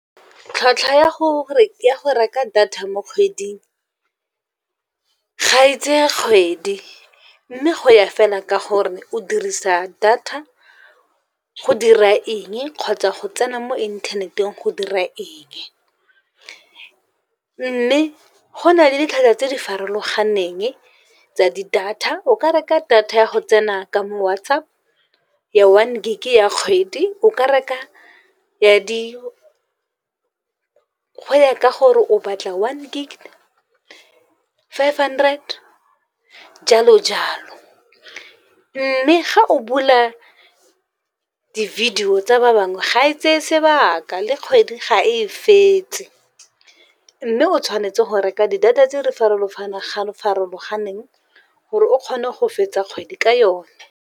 Tlhwatlhwa ya go reka data mo kgweding, ga e tseye kgwedi. Mme go ya fela ka gore o dirisa data go dira eng kgotsa go tsena mo inthaneteng go dira eng. Mme go na le ditlhwatlhwa tse di farologaneng tsa di-data, o ka reka data ya go tsena ka mo WhatsApp ya one gig ya kgwedi go ya ka gore o batla one gig, five hundred jalo-jalo mme ga o bula di-video tsa ba bangwe ga e tseye sebaka le kgwedi ga e fetse, mme o tshwanetse go reka di-data tse di farologaneng, gore o kgone go fetsa kgwedi ka yone.